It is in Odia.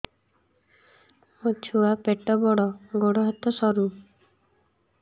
ମୋ ଛୁଆ ପେଟ ବଡ଼ ଗୋଡ଼ ହାତ ସରୁ